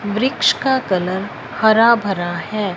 वृक्ष का कलर हरा भरा है।